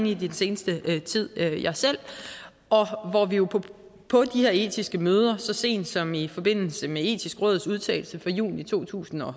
i den seneste tid jeg selv og hvor vi jo på på de her etiske møder så sent som i forbindelse med det etiske råds udtalelse fra juni to tusind og